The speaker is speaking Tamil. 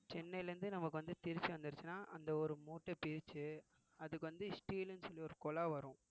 சென்னையில இருந்து நமக்கு வந்து திருச்சி வந்திருச்சுன்னா அந்த ஒரு மூட்டை பிரிச்சு அதுக்கு வந்து steel ன்னு சொல்லி ஒரு குழா வரும்